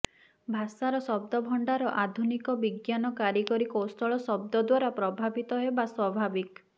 ଭାଷାର ଶଦ୍ଦ ଭଣ୍ଡାର ଆଧୁନିକ ବିଜ୍ଞାନ କାରିଗରି କୌଶଳ ଶଦ୍ଦ ଦ୍ୱାରା ପ୍ରଭାବିତ ହେବା ସ୍ୱାଭାବିକ